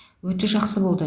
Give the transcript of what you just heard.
өте жақсы болды